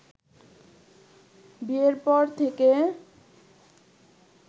বিয়ের পর থেকে